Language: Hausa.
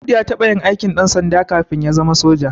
Audu ya taɓa yin aikin ɗansanda kafin ya zama soja